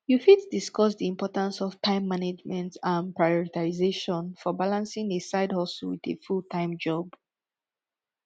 you fit discuss di importance of time management and prioritization for balancing a sidehustle with a fulltime job